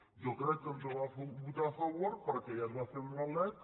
jo crec que ens ho va votar a favor perquè ja es va fer amb la lec